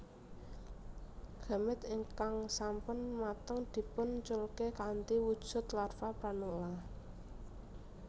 Gamet ingkang sampun mateng dipun culke kanthi wujud larva pranula